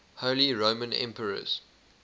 holy roman emperors